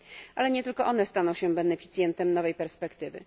Ale nie tylko one staną się beneficjentem nowej perspektywy.